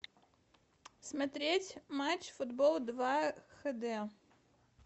смотреть матч футбол два хд